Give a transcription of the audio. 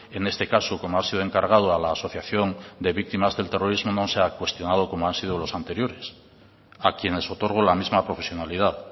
en este caso como ha sido encargado a la asociación de víctimas del terrorismo no se ha cuestionado como han sido los anteriores a quienes otorgo la misma profesionalidad